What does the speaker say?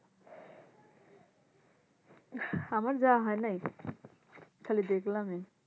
আহ আমার যাওয়া হয় নাই খালি দেখলামই